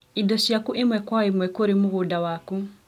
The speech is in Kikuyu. indo ciaku ĩmwe kwa ĩmwe kũrĩ mũgũnda waku.